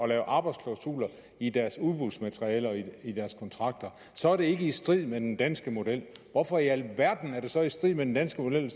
lave arbejdsklausuler i deres udbudsmateriale og i deres kontrakter så er det ikke i strid med den danske model hvorfor i alverden er det så i strid med den danske model at